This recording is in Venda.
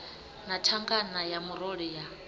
na thangana ya murole ya